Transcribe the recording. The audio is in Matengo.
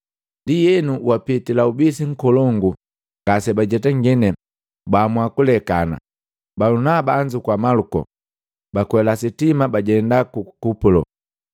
Ndienu, wapitali ubisi nkolongu, ngase bajetangini, baamua kulekana. Balunaba anzukua Maluko, bakwela sitima bajenda ku Kupulo.